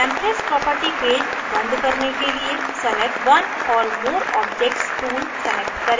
templates property page बंद करने के लिए select one or more objects tool select करें